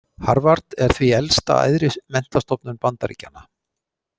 Harvard er því elsta æðri menntastofnun Bandaríkjanna.